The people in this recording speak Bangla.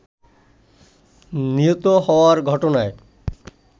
নিহত হওয়ার ঘটনায়